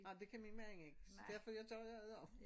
Ej men det kan min man ikke så derfor jeg gør jeg det også